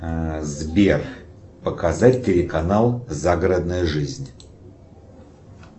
сбер показать телеканал загородная жизнь